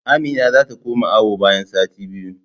Amina zata koma awo bayan sati biyu